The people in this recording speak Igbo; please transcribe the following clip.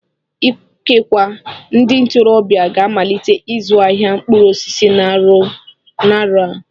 Ikekwe ndị ntorobịa ga-amalite ịzụ ahịa mkpụrụ osisi n'arọ a